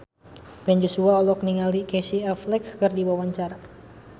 Ben Joshua olohok ningali Casey Affleck keur diwawancara